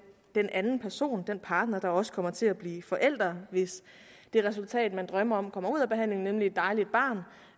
anden person den partner der også kommer til at blive forælder hvis det resultat man drømmer om kommer ud af behandlingen nemlig et dejligt barn